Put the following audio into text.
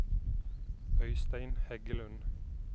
Øystein Heggelund